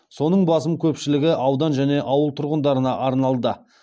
соның басым көпшілігі аудан және ауыл тұрғындарына арналды